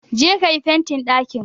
Je ka yi fentin ɗakin